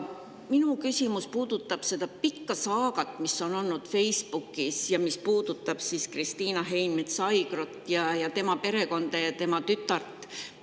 Minu küsimus puudutab seda pikka saagat, mis on olnud nähtav Facebookis ja mis puudutab Kristiina Heinmets-Aigrot ning tema perekonda ja tütart.